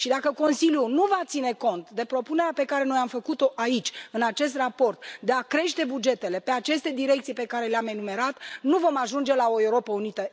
Și dacă Consiliul nu va ține cont de propunerea pe care noi am făcut o aici, în acest raport, de a crește bugetele pe aceste direcții pe care le am enumerat, nu vom ajunge la o Europă unită.